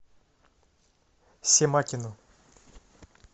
семакину